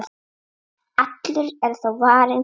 Allur er þó varinn góður.